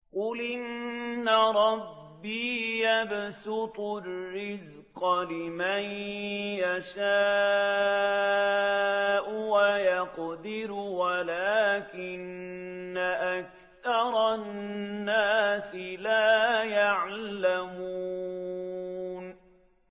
قُلْ إِنَّ رَبِّي يَبْسُطُ الرِّزْقَ لِمَن يَشَاءُ وَيَقْدِرُ وَلَٰكِنَّ أَكْثَرَ النَّاسِ لَا يَعْلَمُونَ